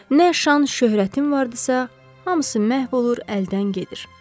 Nə şan-şöhrətim vardısa, hamısı məhv olur, əldən gedir.